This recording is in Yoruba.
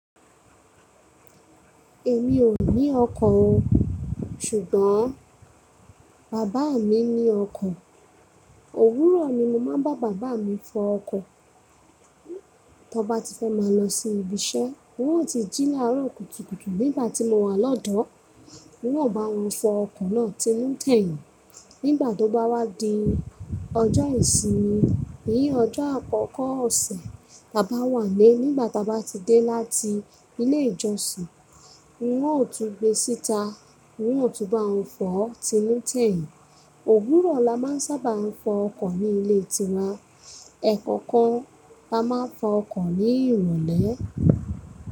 Èmi ò ní ọkọ́ o. Ṣùgbọ́n bàbá mi ní ọkọ́. Òwúrọ̀ ni mo máa ń bá bàbá mi fọ ọkọ́ tí ọ bá ti fẹ́ máa lọ sí ibi iṣẹ́. Wọn ó ti jí láàrọ̀ kùtùkùtù nígbà tí mo wà lọ́dọ̀. Mo ó bá wọn fọ ọkọ̀ náà tinu-teyìn nígbà tó bá wá di ọjọ́ ìsinmi. Nì ọjọ́ àkọ́kọ́ ọ̀sẹ̀ tá bá wà nílé, nígbà tá a bá ti dé láti ilé ìjọsìn, wọn ò tún gbé síta, wọn ò tún bá wọn fọ̀ tinu-tẹ̀yìn. Òwúrọ̀ la máa ń sábà fọ ọkọ́ ní ilé tiwa. Ẹ̀kankan la máa ń fọ ọkọ́ ní ìrọ̀lẹ́.